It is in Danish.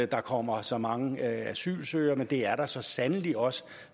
der kommer så mange asylsøgere men det er der så sandelig også